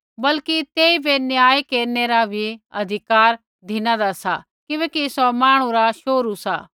बल्कि तेइबै न्याय केरनै रा भी अधिकार धिनादा सा किबैकि सौ मांहणु रा शोहरू सा